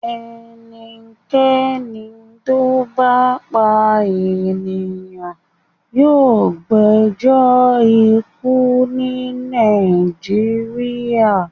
Ẹnikẹ́ni tó bá pa ènìyàn yóò gbẹjọ́ ikú ní Nàìjíríà.